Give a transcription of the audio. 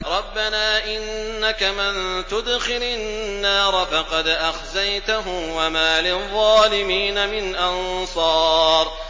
رَبَّنَا إِنَّكَ مَن تُدْخِلِ النَّارَ فَقَدْ أَخْزَيْتَهُ ۖ وَمَا لِلظَّالِمِينَ مِنْ أَنصَارٍ